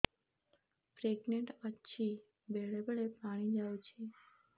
pregnant ଅଛି ବେଳେ ବେଳେ ପାଣି ଯାଉଛି